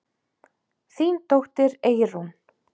Þín dóttir, Eyrún.